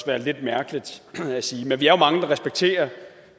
være lidt mærkeligt at sige men vi er jo mange der respekterer